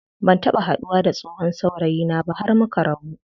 Ban taɓa haduwa da tsohon saurayina ba har muka rabu.